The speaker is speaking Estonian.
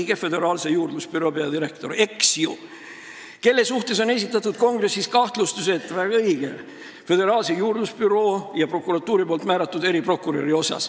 Õige, Föderaalse Juurdlusbüroo peadirektor, kelle kohta on Kongressis esitatud kahtlustus seoses Föderaalse Juurdlusbüroo ja prokuratuuri määratud eriprokuröriga.